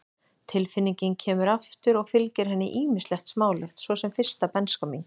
Tilfinningin kemur aftur og fylgir henni ýmislegt smálegt, svo sem fyrsta bernska mín.